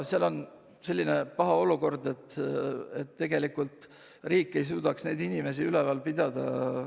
Seal on selline paha olukord, et tegelikult riik ei suuda neid inimesi üleval pidada.